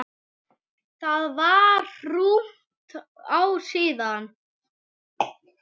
Það var rúmt ár síðan.